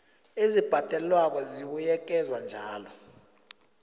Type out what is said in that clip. ezibhadelwako zibuyekezwa njalo